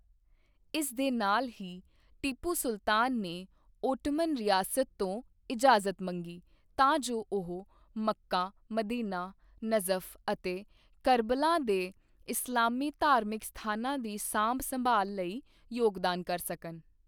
ਇਸ ਦੇ ਨਾਲ ਹੀ, ਟੀਪੂ ਸੁਲਤਾਨ ਨੇ ਓਟੋਮੈਨ ਰਿਆਸਤ ਤੋਂ ਇਜਾਜ਼ਤ ਮੰਗੀ ਤਾਂ ਜੋ ਉਹ ਮੱਕਾ, ਮਦੀਨਾ, ਨਜਫ਼ ਅਤੇ ਕਰਬਲਾ ਦੇ ਇਸਲਾਮੀ ਧਾਰਮਿਕ ਸਥਾਨਾਂ ਦੀ ਸਾਂਭ ਸੰਭਾਲ ਲਈ ਯੋਗਦਾਨ ਕਰ ਸਕਣI